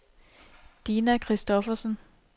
Dina Christoffersen